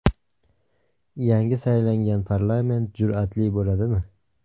Yangi saylangan parlament jur’atli bo‘ladimi?